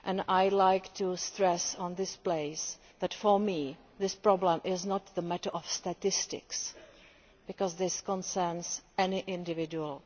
I would like to stress in this place that for me, this problem is not a matter of statistics, because this concerns any individual.